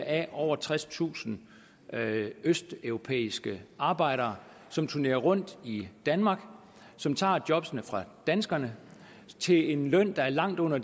af over tredstusind østeuropæiske arbejdere som turnerer rundt i danmark og som tager jobbene fra danskerne til en løn der er langt under